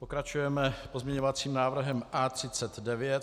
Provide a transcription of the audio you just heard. Pokračujeme pozměňovacím návrhem A39.